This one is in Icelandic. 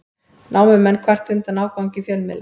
Námumenn kvarta undan ágangi fjölmiðla